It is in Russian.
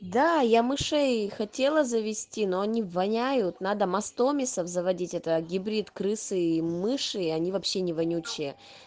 да я мышей хотела завести но они воняют надо мастомисов заводить это гибрид крысы и мыши и они вообще не вонючие